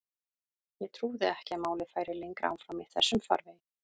Ég trúði ekki að málið færi lengra áfram í þessum farvegi.